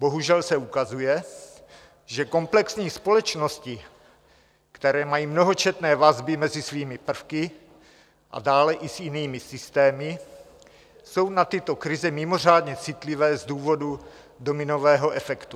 Bohužel se ukazuje, že komplexní společnosti, které mají mnohočetné vazby mezi svými prvky a dále i s jinými systémy, jsou na tyto krize mimořádně citlivé z důvodu dominového efektu.